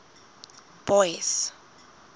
boyce